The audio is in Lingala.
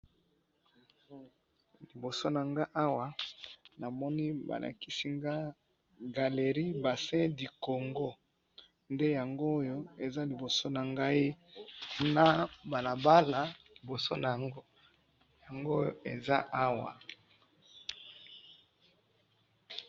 liboso nanga awa namoni balakisi ngayi galerie bassin du congo nde yangoyo eza liboso nangayi nabalabala eza liboso nango nde eza awa